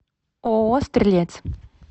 ооо стрелец